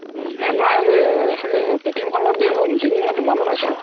এহমাহ কে তি য়াম খনৰ দিন হ'ল মানে দুমাহ মান হৈছে আৰু